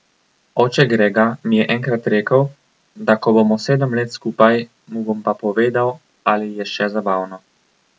Oče Grega mi je enkrat rekel, da ko bomo sedem let skupaj, mu bom pa povedal, ali je še zabavno.